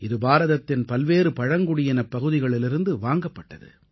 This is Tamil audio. இது பாரதத்தின் பல்வேறு பழங்குடியினப் பகுதிகளிலிருந்து வாங்கப்பட்டது